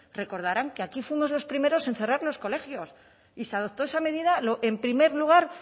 recordarán que aquí fuimos los primeros en cerrar los colegios y se adoptó esa medida en primer lugar